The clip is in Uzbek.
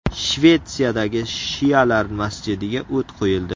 Shvetsiyadagi shialar masjidiga o‘t qo‘yildi.